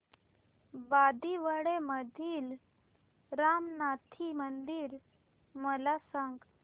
बांदिवडे मधील रामनाथी मंदिर मला सांग